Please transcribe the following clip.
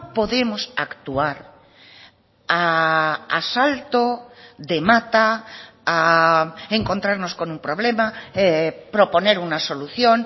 podemos actuar a salto de mata a encontrarnos con un problema proponer una solución